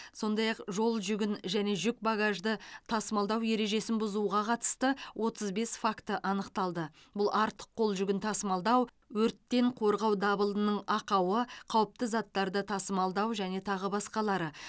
сондай ақ жолжүгін және жүк багажды тасымалдау ережесін бұзуға қатысты отыз бес факті анықталды бұл артық қол жүгін тасымалдау өрттен қорғау дабылының ақауы қауіпті заттарды тасымалдау және тағы басқалары